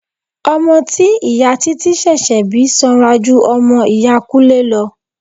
Ọmọ tí ìyá títí ṣẹ̀ṣẹ̀ bí sanra ju ọmọ iya Kúnlé lọ.